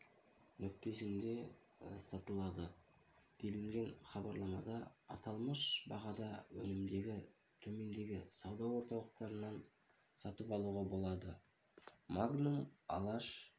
нүктесінде сатылады делінген хабарламада аталмыш бағада өнімді төмендегі сауда орталықтарынан сатып алуға болады магнум алаш